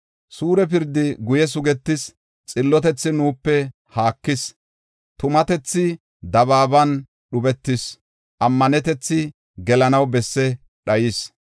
Suure pirdi guye sugetis; xillotethi nuupe haakis. Tumatethi dabaaban dhubetees; ammanetethi gelanaw besse dhayis.